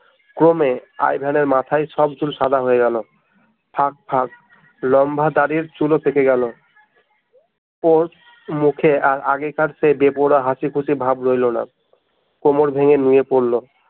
ক্রমে আই ভেনের মাথার সব চুল সাদা হয়ে গেল ফাঁক ফাঁক লম্বা দাড়ির চুল ও থেকে গেল ওর মুখে আর আগেকার সে বেপরোয়া হাসি খুশি ভাব রইলো না কোমড় ভেঙ্গে নিয়ে পড়লো